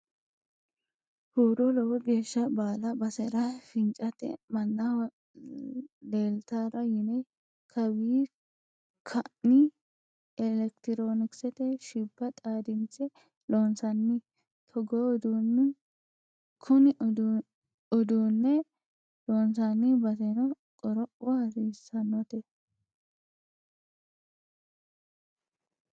Huuro lowo geeshsha baala basera fincate mannaho leeltara yine kawi kainni elekitironkisete shibba xaadinse loonsanni togoo uduune kune uduune loonsanni baseno qoropho hasiisanote.